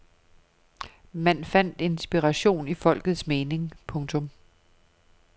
Man fandt inspiration i folkets mening. punktum